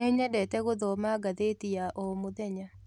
Nĩnyendete gũthoma ngathĩti ya o mũthenya